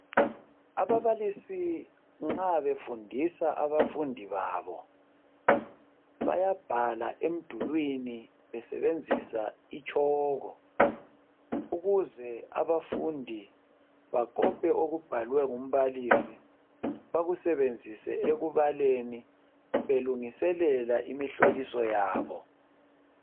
Ababalisi nxa befundisa abafundi babo, bayabhala emdulwini besebenzisa itshoko ukuze abafundi bakope okubhalwe ngumbalisi bakusebenzise ekubaleni belungiselela imihloliso yabo.